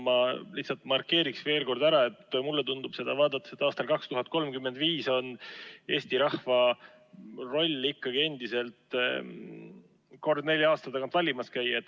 Ma lihtsalt markeerin veel kord ära, et mulle tundub seda vaadates, et aastal 2035 on Eesti rahva roll ikkagi endiselt üks kord nelja aasta tagant valimas käia.